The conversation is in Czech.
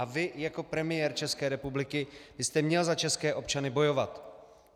A vy, jako premiér České republiky byste měl za české občany bojovat.